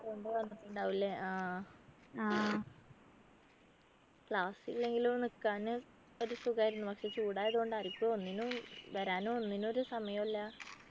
കൊണ്ട് വന്നിട്ടുണ്ടാകും അല്ലെ ആഹ് class ഇല്ലെങ്കിലും നിക്കാന് ഒരു സുഖായിരുന്നു പക്ഷെ ചൂടായതുകൊണ്ട് ആരിക്കും ഒന്നിനും വരാനും ഒന്നിനും ഒരു സമയമില്ല